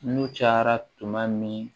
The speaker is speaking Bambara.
N'u cayara tuma min